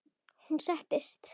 Hún sest.